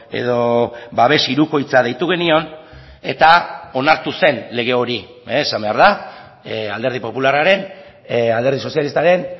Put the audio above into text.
edo babes hirukoitza deitu genion eta onartu zen lege hori esan behar da alderdi popularraren alderdi sozialistaren